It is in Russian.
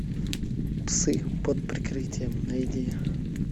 псы под прикрытием найди